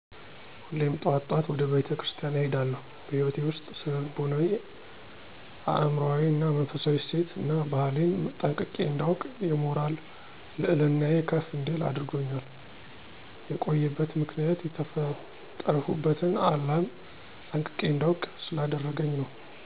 ሁሌም ጠዋት ጠዋት ወደ ቤተ ክርስቲያን እሄዳለሁ። በህይወቴ ውስጥ ስነ ልቦናዊ አእምሮአዊ እና መንፈሳው እሴት እና ባህሌን ጠንቅቄ እንዳውቅ የሞራል ልዕልናየ ከፍ እንዲል አድርጎኛል። የቆየበት ምክንያት የተፈጠርሁበትን ዓላም ጠንቅቄ እንዳውቅ ስላደረገኝ ነው።